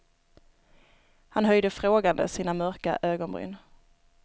Han höjde frågande sina mörka ögonbryn.